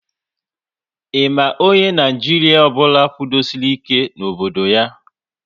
Ị ma onye Naijiria ọbụla kwudosori ike n'obodo ya?